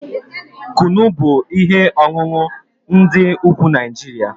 Kunu bụ ihe ọṅụṅụ ndị ugwu Naijiria